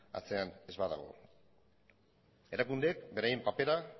atzean ez badago erakundeek beraien papera